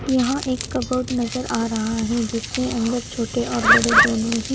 यहां एक कबोर्ड नजर आ रहा है जिसके अंदर छोटे और बड़े दोनों ही--